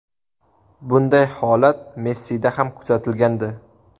Bunday holat Messida ham kuzatilgandi.